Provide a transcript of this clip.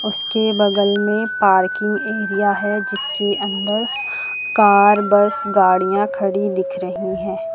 उसके बगल में पार्किंग एरिया है। जिसके अंदर कार बस गाड़ियां खड़ी दिख रही है।